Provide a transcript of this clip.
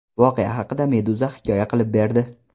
Voqea haqida Meduza hikoya qilib berdi .